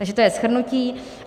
Takže to je shrnutí.